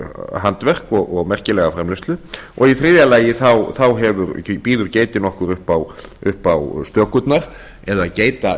handverk og merkilega framleiðslu og í þriðja lagi býður geitin okkur upp á stökurnar eða